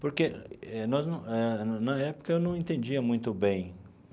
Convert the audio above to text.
Porque eh nós não, na época, eu não entendia muito bem.